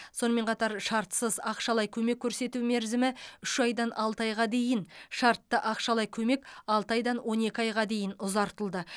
сонымен қатар шартсыз ақшалай көмек көрсету мерзімі үш айдан алты айға дейін шартты ақшалай көмек алты айдан он екі айға дейін ұзартылды